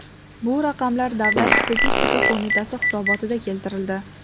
Bu raqamlar Davlat statistika qo‘mitasi hisobotida keltirildi.